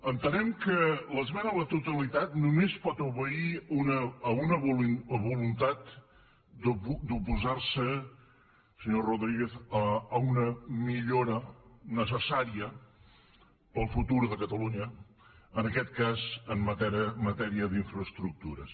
entenem que l’esmena a la totalitat només pot obeir a una voluntat d’oposar se senyor rodríguez a una millora necessària per al futur de catalunya en aquest cas en matèria d’infraestructures